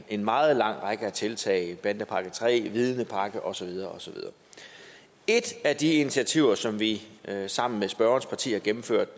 en meget lang række af tiltag bandepakke iii vidnepakken og så videre et af de initiativer som vi sammen med spørgerens parti har gennemført